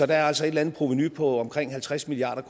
der er altså et eller andet provenu på omkring halvtreds milliard